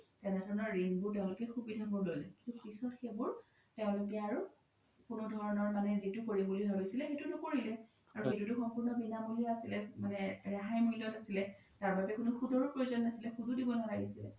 তেনেধৰণৰ ৰিন বোৰৰ সুবিধা বোৰ ল্'লে পিছ্ত সেইবোৰ তেওলোকে আৰু কোনো ধৰণৰ যিতো কৰিম বুলি ভাবিছিলে সেইতো নকৰিলে আৰু সেইতো সম্পুৰ্ন বিনামুলিয়া আছিলে মানে ৰেহাই মুল্যত আছিলে তাৰ বাবে কোনো সুতও প্ৰয়োজ্ন নাছিলে সুতও দিব নালাগিছিলে